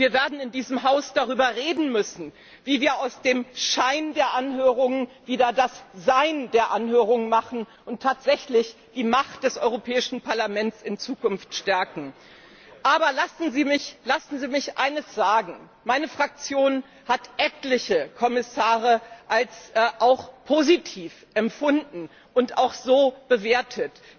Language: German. Wir werden in diesem Haus darüber reden müssen, wie wir aus dem Schein der Anhörungen wieder das Sein der Anhörungen machen und tatsächlich die Macht des Europäischen Parlaments in Zukunft stärken. Aber lassen Sie mich eines sagen Meine Fraktion hat etliche Kommissare als auch positiv empfunden und auch so bewertet.